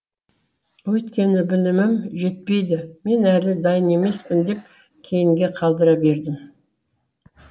өйткені білімім жетпейді мен әлі дайын емеспін деп кейінге қалдыра бердім